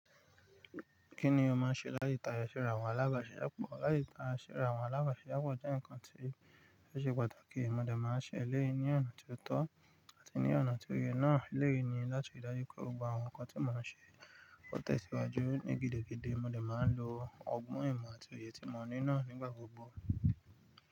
Kí ni o máa ń ṣe láì ta yẹsẹ̀ ra àwọn alábàáṣìyá pọ̀? Láì ta yẹsẹ̀ ra àwọn alábàáṣìyá pọ̀ jẹ́ nǹkan tí ó ṣe pàtàkì. Mo dà máa ń ṣe elé yí ni ọ̀nà tó tọ́ àti ní ọ̀nà tó yẹ náà eléèyí ni láti ríi dájú pé gbogbo àwọn nǹkan tí mo máa ń ṣe ó tẹ̀ síwájú ní gidigidi. Mo dà máa ń lo ọgbọ́n ìmọ̀ àti òye tí mo ní náà nígbà gbogbo.